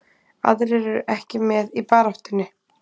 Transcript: Aðrir eru ekki með í baráttunni.